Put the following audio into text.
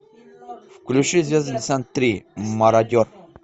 включи звездный десант три мародер